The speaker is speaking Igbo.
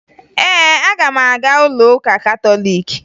Ee, aga m aga ụlọụka katọliiki